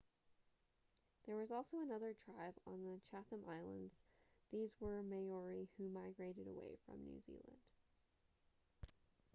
there was also another tribe on the chatham islands these were maori who migrated away from new zealand